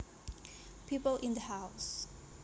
people in the house